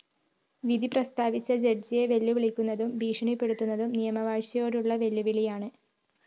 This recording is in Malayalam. വിധി പ്രസ്താവിച്ച ജഡ്ജിയെ വെല്ലുവിളിക്കുന്നതും ഭീഷണിപ്പെടുത്തുന്നതും നിയമവാഴ്ചയോടുള്ള വെല്ലുവിളിയാണ്